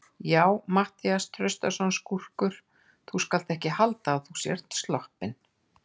Já, Matthías Traustason, skúrkur, þú skalt ekki halda að þú sért sloppinn!